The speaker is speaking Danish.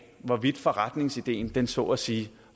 hvorvidt forretningsideen så at sige